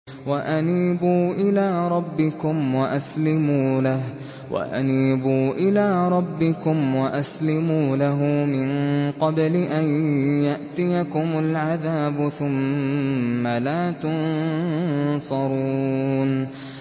وَأَنِيبُوا إِلَىٰ رَبِّكُمْ وَأَسْلِمُوا لَهُ مِن قَبْلِ أَن يَأْتِيَكُمُ الْعَذَابُ ثُمَّ لَا تُنصَرُونَ